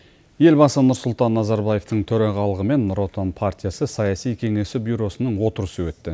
елбасы нұрсұлтан назарбаевтың төрағалығымен нұротан партиясы саяси кеңесі бюросының отырысы өтті